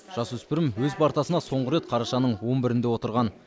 жасөспірім өз партасына соңғы рет қарашаның он бірінде отырған